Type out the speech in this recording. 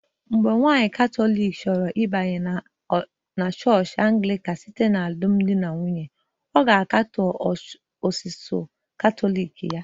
Mgbe nwanyị Katọlik chọrọ ịbanye na chọọchị Anglican site n'alụmdi na nwunye, ọ ga-akatọ ozizi Katọlik ya